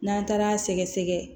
N'an taara sɛgɛsɛgɛ